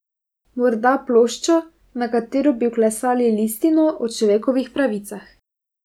Morda ploščo, na katero bi vklesali listino o človekovih pravicah.